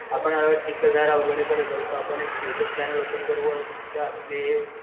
आपण चिखलदारा वगैरे करत जाऊ तर आपण एक यु ट्यूब चॅनेल ओपन करू व आपले